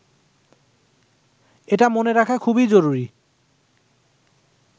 এটা মনে রাখা খুবই জরুরি